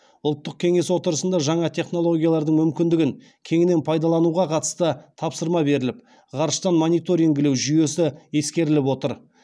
ұлттық кеңес отырысында жаңа технологиялардың мүмкіндігін кеңінен пайдалануға қатысты тапсырма беріліп ғарыштан мониторингілеу жүйесі ескеріліп отыр